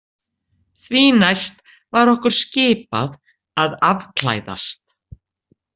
Því næst var okkur skipað að afklæðast.